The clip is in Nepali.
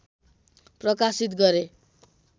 प्रकाशित गरे